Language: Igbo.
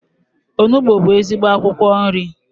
Onugbu bụ ezigbo akwụkwọ nri.